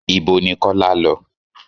Ìbo ní Kọ́lá lọ?